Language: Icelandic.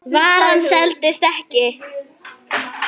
Varan seldist ekki.